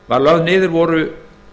var lögð niður voru